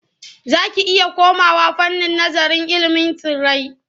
Za ki iya komawa fannin nazararil ilimin tsirrai.